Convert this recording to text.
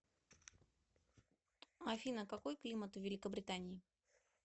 афина какой климат в великобритании